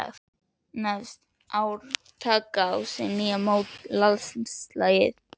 Neðst: ár taka á ný að móta landslagið.